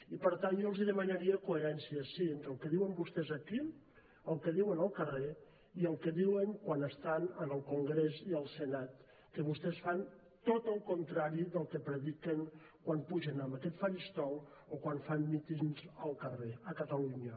i per tant jo els demanaria coherència sí entre el que diuen vostès aquí el que diuen al carrer i el que diuen quan estan en el congrés i al senat que vostès fan tot el contrari del que prediquen quan pugen en aquest faristol o quan fan mítings al carrer a catalunya